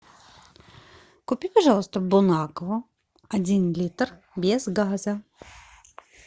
купи пожалуйста бон аква один литр без газа